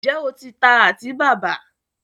ǹjẹ́ o ti ta àtíbàbà?